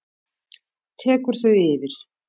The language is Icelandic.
tekur þau yfir?